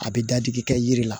A bɛ dadigi kɛ yiri la